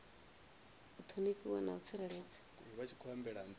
u ṱhonifhiwa na u tsireledzwa